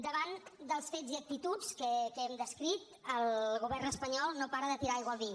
davant dels fets i actituds que hem descrit el govern espanyol no para de tirar aigua al vi